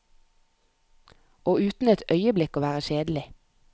Og uten et øyeblikk å være kjedelig.